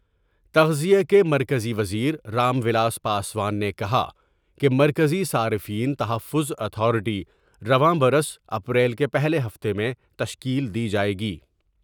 تغذیہ کے مرکزی وزیر رام ولاس پاسوان نے کہا کہ مرکز ی صارفین تحفظ اتھارٹی رواں برس اپریل کے پہلے ہفتہ میں تشکیل دی جاۓ گی ۔